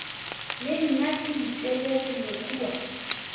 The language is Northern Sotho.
le nna ke ditelegile kua